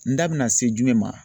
N da bɛna se jumɛn ma